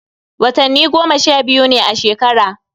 Watanni goma sha biyu ne a shekara